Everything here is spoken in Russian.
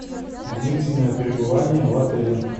длительное пребывание в отеле